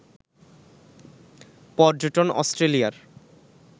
পর্যটন অস্ট্রেলিয়ার